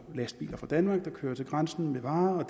lastbiler fra danmark der kører til grænsen med varer og